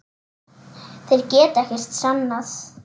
Þeir geta ekkert sannað.